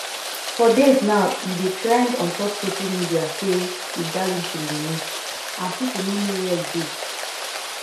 for days now e don dey trend ontop social media say speed darlington dey miss and pipo no know wia e dey